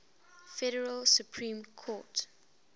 federal supreme court